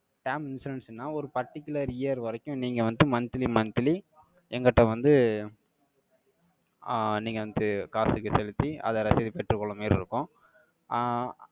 term insurance ன்னா, ஒரு particular year வரைக்கும், நீங்க வந்து, monthly, monthly எங்கிட்ட வந்து, ஆஹ் நீங்க வந்து, காசுக்கு செலுத்தி, அதை ரசீது பெற்றுக் கொள்ளுமாறு இருக்கோம். ஆஹ்